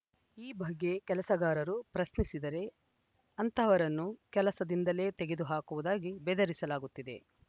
ಈ ಬಗ್ಗೆ ಕೆಲಸಗಾರರು ಪ್ರಶ್ನಿಸಿದರೆ ಅಂತಹವರನ್ನು ಕೆಲಸದಿಂದಲೇ ತೆಗೆದು ಹಾಕುವುದಾಗಿ ಬೆದರಿಸಲಾಗುತ್ತಿದೆ